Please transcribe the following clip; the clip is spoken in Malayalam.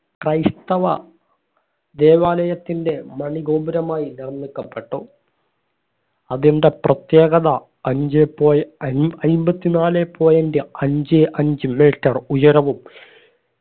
ക്രൈസ്‌തവ ദേവാലയത്തിന്റെ മണിഗോപുരമായി നിർമ്മിക്കപ്പെട്ടു അതിന്റെ പ്രത്യേകത അഞ്ചേ point അയ് അയിമ്പത്തിനാലേ point അഞ്ചേ അഞ്ച്‌ metre ഉയരവും